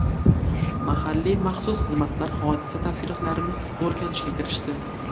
Mahalliy maxsus xizmatlar hodisa tafsilotlarini o‘rganishga kirishdi.